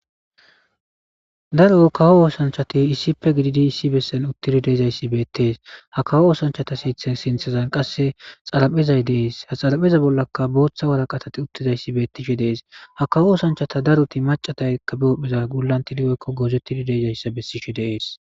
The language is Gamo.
daro kawo oosanchati issippe gididi issi bessen uttidi deezayssi beettees ha kawo oosanchata seithe sinthezan qasse xaraphezay dees ha xarapheza bollaka booththa waraqatati uttizayssi beettishe dees ha kawo oosanchata daruti macataykka biophpheza gullan tiligeykko goozettidi deejayssa bessishi deees